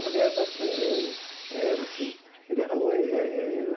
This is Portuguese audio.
uma mulher bastante... Era, sim. Ele era eh eh eh